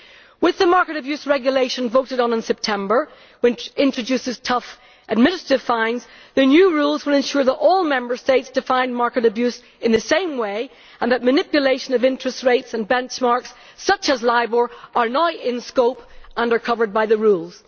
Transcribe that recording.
With the market abuse regulation voted on in September, introducing tough administrative fines, the new rules will ensure that all Member States define market abuse in the same way and that manipulation of interest rates and benchmarks such as Libor are now in the scope and are covered by the rules.